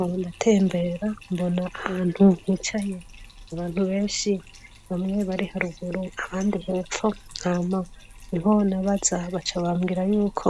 Ubu ndatembera mbona ahantu hicaye abantu benshi bamwe bari haruguru abandi hepfo nkama niho nabaza bacabambwira y'uko